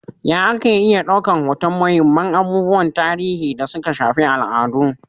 Ya ake iya ɗaukan hoton muhimman abubuwan tarihi da suka shafi al'adu?